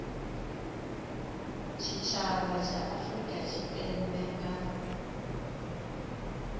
tshitshavha tsha afurika tshipembe nga